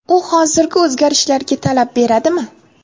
U hozirgi o‘zgarishlarga talab beradimi?